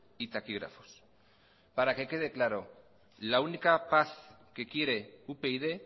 y taquígrafos para que quede claro la única paz que quiere upyd